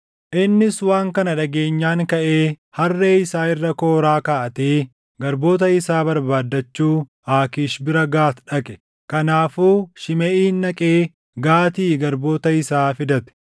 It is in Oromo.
Innis waan kana dhageenyaan kaʼee harree isaa irra kooraa kaaʼatee garboota isaa barbaadachuu Aakiish bira Gaati dhaqe. Kanaafuu Shimeʼiin dhaqee Gaatii garboota isaa fidate.